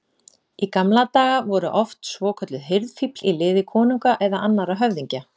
Í gamla daga voru oft svokölluð hirðfífl í liði konunga eða annarra höfðingja.